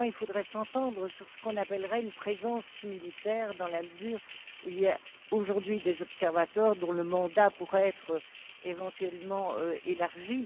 Ou du moins, il faudrait s'entendre sur ce qu'on appellerait une présence militaire dans la mesure où il y a aujourd'hui des observateurs dont le mandat pourrait être éventuellement élargi.